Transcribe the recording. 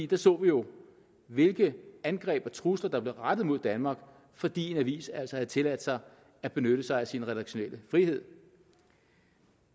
der så vi jo hvilke angreb og trusler der blev rettet mod danmark fordi en avis altså havde tilladt sig at benytte sig af sin redaktionelle frihed